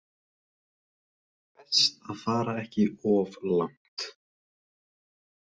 Best að fara ekki of langt.